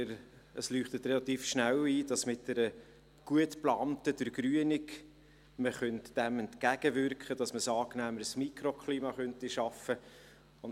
Und es leuchtet relativ schnell ein, dass man dem mit einer gut geplanten Durchgrünung entgegenwirken kann, dass man ein angenehmeres Mikroklima schaffen könnte.